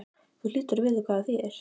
Þú hlýtur að vita hvað það þýðir?